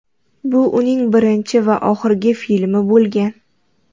Bu uning birinchi va oxirgi filmi bo‘lgan.